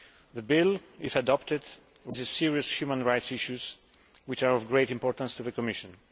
The bill, if adopted, raises serious human rights issues which are of great importance to the Commission.